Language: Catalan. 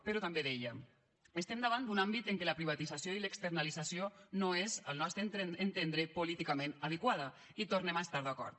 però també deia estem davant d’un àmbit en què la privatització i l’externalització no és al nostre entendre políticament adequada hi tornem a estar d’acord